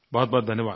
बहुतबहुत धन्यवाद